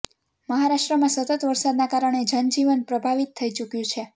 મહારાષ્ટ્રમાં સતત વરસાદના કારણે જનજીવન પ્રભાવિત થઇ ચૂક્યું છે